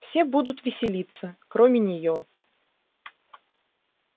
все будут веселиться кроме неё